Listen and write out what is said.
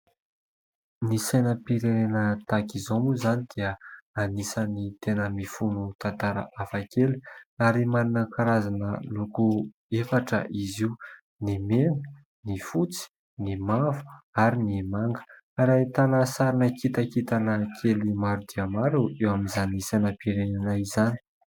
Ny sainam-pirenena tahaka izao moa izany dia anisan'ny tena mifono tantara hafa kely ary manana karazana loko efatra izy io : ny mena, ny fotsy, ny mavo ary ny manga ary ahitana sarina kitakintana kely maro dia maro eo amin'izany sainam-pirenenay izany.